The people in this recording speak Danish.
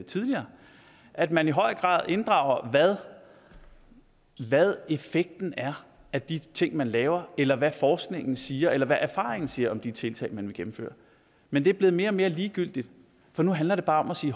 tidligere at man i højere grad inddrager hvad effekten er af de ting man laver eller hvad forskningen siger eller hvad erfaringen siger om de tiltag man vil gennemføre men det er blevet mere og mere ligegyldigt for nu handler det bare om at sige